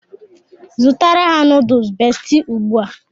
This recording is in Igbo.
Zụtara ha nuduls Besti now!